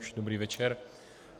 Už dobrý večer.